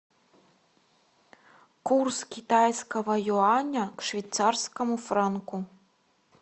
курс китайского юаня к швейцарскому франку